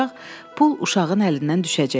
Pul uşağın əlindən düşəcək.